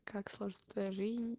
как сложиться твоя жизнь